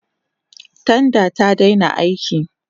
Tanda ta daina aiki.